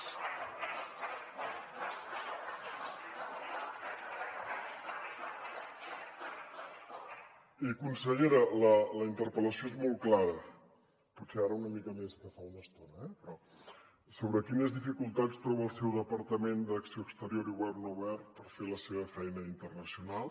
i consellera la interpel·lació és molt clara potser ara una mica més que fa una estona eh però sobre quines dificultats troba el seu departament d’acció exterior i govern obert per fer la seva feina internacional